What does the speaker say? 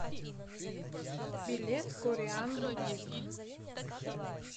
билет кореанбутик